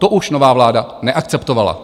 To už nová vláda neakceptovala.